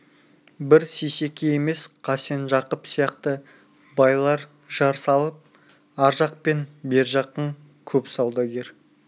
бір сейсеке емес қасен жақып сияқты байлар жар салып ар жақ пен бер жақтың көп саудагер